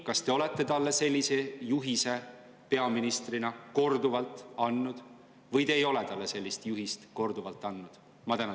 Kas te olete talle sellise juhise peaministrina korduvalt andnud või te ei ole talle sellist juhist korduvalt andnud?